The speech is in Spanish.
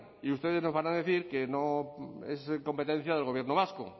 y ustedes nos van a decir que no es competencia del gobierno vasco